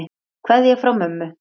Kveðja frá mömmu.